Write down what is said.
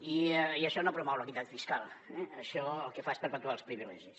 i això no promou l’equitat fiscal això el que fa és perpetuar els privilegis